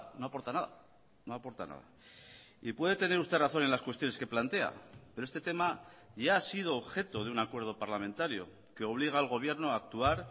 no aporta nada no aporta nada y puede tener usted razón en las cuestiones que plantea pero este tema ya ha sido objeto de un acuerdo parlamentario que obliga al gobierno a actuar